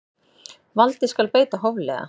Valdi skal beita hóflega.